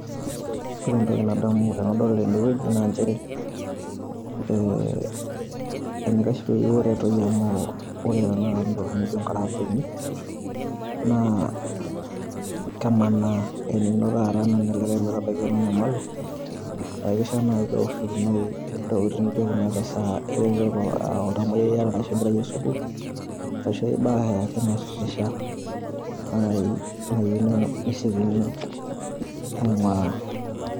Ore entoki nadamu tenadol ene wueji naa nchere ee enikash peyie eretoi amu ore tenakata ntokitin naijo nkaraambeni naa kemanaa. Enino taata naa enolikae metabaiki teninyamalu naa keishia naaji pee ewoshokinoi ntokitin naijo kuna te saa inoto aa oltamuoyiai iyata ashu enkerai e sukuul, arashu ai bae ake natirisha. Naaji nayieu nesiokini aing`uraa.